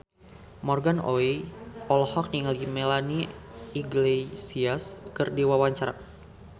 Morgan Oey olohok ningali Melanie Iglesias keur diwawancara